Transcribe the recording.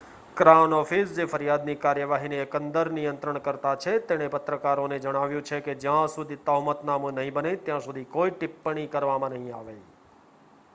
crown Office જે ફરિયાદની કાર્યવાહીની એકંદર નિયંત્રણકર્તા છે તેણે પત્રકારોને જણાવ્યું છે કે જ્યાં સુધી તહોમતનામું નહીં બને ત્યાં સુધી કોઈ ટિપ્પણી કરવામાં નહીં આવે